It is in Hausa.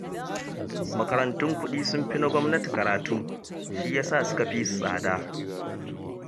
Makarantun kuɗi sun fi na gwamnati karatu, shiyasa suka fi su tsada